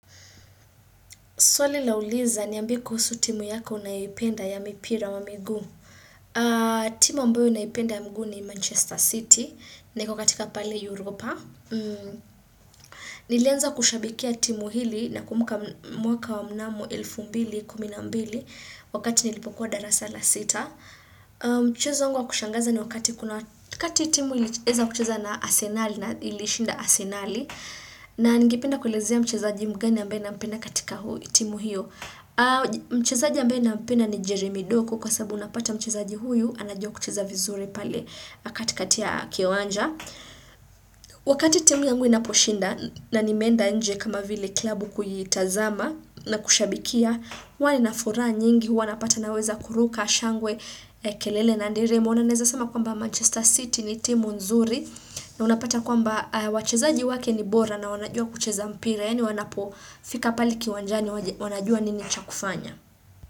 Swali lauliza niambie kuhusu timu yako unayoipenda ya mipira wa miguu. Timu ambayo naipenda ya miguu ni Manchester City. Na iko katika pale Europa. Nilianza kushabikia timu hili nakumbuka mwaka wa mnamu 2012. Wakati nilipokuwa darasa la sita. Mchezo wangu wa kushangaza ni wakati kuna kati timu ilieza kucheza na asenali na ilishinda asenali. Na ningependa kuelezea ni mchezaji mgani ambaye nampenda katika timu hiyo. Mchezaji ambaye nampenda ni Jeremi doku. Kwa sababu unapata, mchezaji huyu anajua kucheza vizuri pale katikati ya kiwanja. Wakati timu yangu inaposhinda, na nimeenda nje kama vile klabu kuyitazama. Na kushabikia huwa nina furaha nyingi. Huwa napata naweza kuruka, shangwe, kelele na nderemo. Mchezo wangu wa kushangaza ni wakati timu ilieza kuchuza na asenali na ilishinda asenali. Yaani wanapofika pale uwanjani wanajua kile cha kufanya.